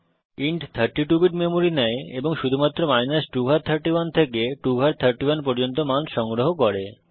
int 32 bit memory নেয় এবং শুধুমাত্র 2 ঘাত 31 থেকে 2 ঘাত 31 পর্যন্ত মান সংগ্রহ করে